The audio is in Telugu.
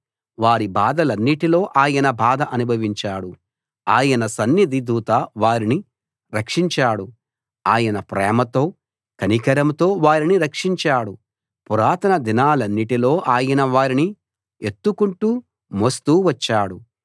వారి బాధలన్నిటిలో ఆయన బాధ అనుభవించాడు ఆయన సన్నిధి దూత వారిని రక్షించాడు ఆయన ప్రేమతో కనికరంతో వారిని రక్షించాడు పురాతన దినాలన్నిటిలో ఆయన వారిని ఎత్తుకుంటూ మోస్తూ వచ్చాడు